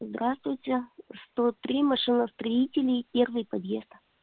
здравствуйте сто три машиностроителей первый подъезд